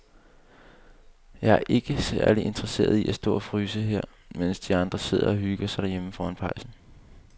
Jeg er ikke særlig interesseret i at stå og fryse her, mens de andre sidder og hygger sig derhjemme foran pejsen.